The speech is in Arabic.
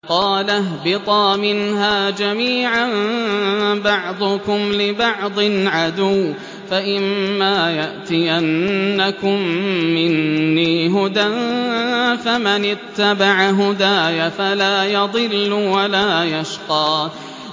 قَالَ اهْبِطَا مِنْهَا جَمِيعًا ۖ بَعْضُكُمْ لِبَعْضٍ عَدُوٌّ ۖ فَإِمَّا يَأْتِيَنَّكُم مِّنِّي هُدًى فَمَنِ اتَّبَعَ هُدَايَ فَلَا يَضِلُّ وَلَا يَشْقَىٰ